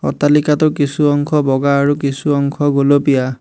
অট্টালিকাটো কিছু অংশ বগা আৰু কিছু অংশ গুলপীয়া।